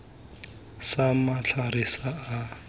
sa matlhare a a sa